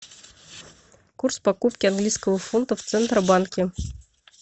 курс покупки английского фунта в центробанке